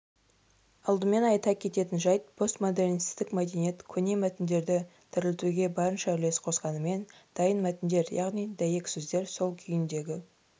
алдымен айта кететін жайт постмодернистік мәдениет көне мәтіндерді тірілтуге барынша үлес қосқанымен дайын мәтіндер яғни дәйексөздер сол күйіндегі